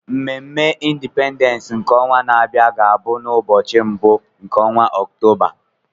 Mmemme Indipendens nke ọnwa na-abịa ga bụ n'ubọchị mbụ n'onwa Ọktoba.